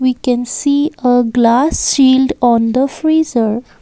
we can see a glass shield on the freezer.